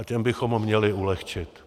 A těm bychom měli ulehčit.